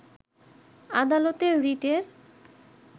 আদালতে রিটের